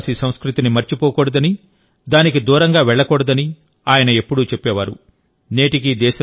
మన ఆదివాసిసంస్కృతిని మరచిపోకూడదని దానికి దూరంగా వెళ్లకూడదని ఆయన ఎప్పుడూ చెప్పేవారు